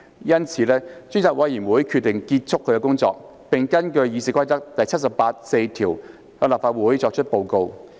故此，專責委員會決定結束其工作，並根據《議事規則》第784條向立法會作出報告。